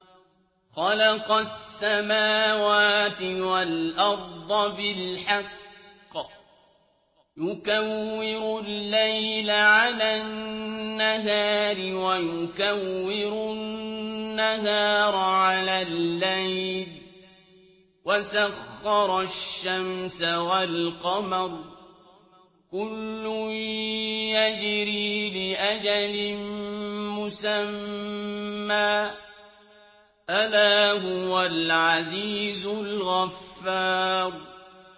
خَلَقَ السَّمَاوَاتِ وَالْأَرْضَ بِالْحَقِّ ۖ يُكَوِّرُ اللَّيْلَ عَلَى النَّهَارِ وَيُكَوِّرُ النَّهَارَ عَلَى اللَّيْلِ ۖ وَسَخَّرَ الشَّمْسَ وَالْقَمَرَ ۖ كُلٌّ يَجْرِي لِأَجَلٍ مُّسَمًّى ۗ أَلَا هُوَ الْعَزِيزُ الْغَفَّارُ